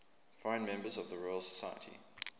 foreign members of the royal society